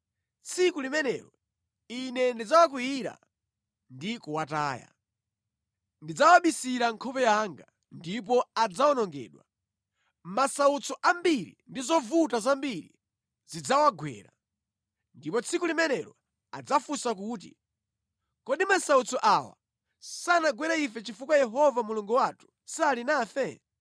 Tsiku limenelo Ine ndidzawakwiyira ndi kuwataya. Ndidzawabisira nkhope yanga, ndipo adzawonongedwa. Masautso ambiri ndi zovuta zambiri zidzawagwera, ndipo tsiku limenelo adzafunsa kuti, ‘Kodi masautso awa sanagwere ife chifukwa Yehova Mulungu wathu sali nafe?’